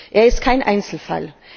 Er ist kein Einzelfall.